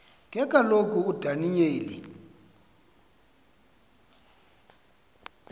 ke kaloku udaniyeli